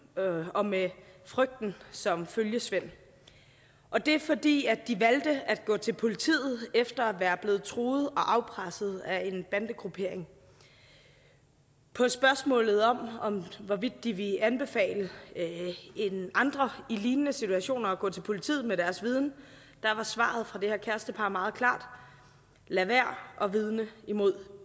og med frygten som følgesvend og det er fordi de valgte at gå til politiet efter at være blevet truet og afpresset af en bandegruppering på spørgsmålet om hvorvidt de ville anbefale andre i lignende situationer at gå til politiet med deres viden var svaret fra det her kærestepar meget klart lad være at vidne imod